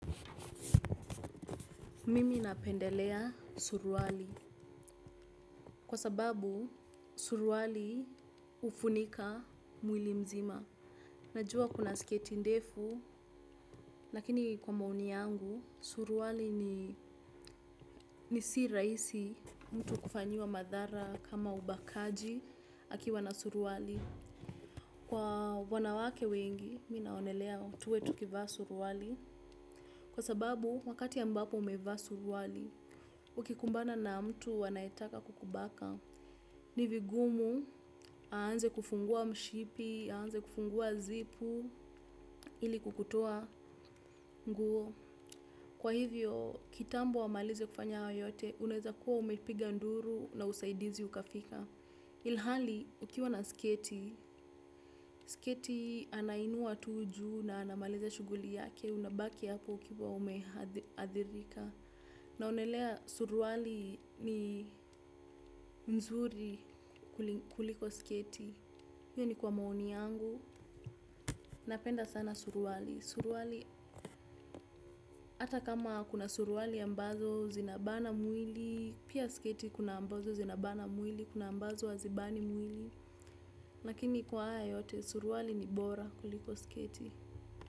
Mimi napendelea suruali. Kwa sababu, suruali hufunika mwili mzima. Najua kuna siketi ndefu, nakini kwa maoni yangu, suruali ni si rahisi mtu kufanyiwa madhara kama ubakaji akiwa na suruali. Kwa wanawake wengi, minaonelea tuwe tukivaa suruali. Kwa sababu, wakati ambapo umevaa suruali, ukikumbana na mtu anaetaka kukubaka ni vigumu aanze kufungua mshipi, aanze kufungua zipu ili kukutoa nguo. Kwa hivyo kitambo wamalize kufanya hayo yote unaweza kuwa umepiga nduru na usaidizi ukafika. Ilhali ukiwa na sketi, sketi anainua tu juu na anamaliza shughuli yake unabaki hapo ukiwa umehadhirika. Naonelea suruali ni nzuri kuliko sketi, hiyo ni kwa maoni yangu, napenda sana suruali. Suruali, ata kama kuna suruali ambazo zinabana mwili, pia sketi kuna ambazo zinabana mwili, kuna ambazo hazibani mwili. Lakini kwa haya yote suruali ni bora kuliko sketi.